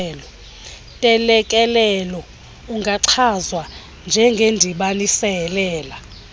ntelekelelo ungachazwa njengendibanisela